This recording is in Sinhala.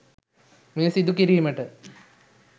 මෙය සිදුකිරීමට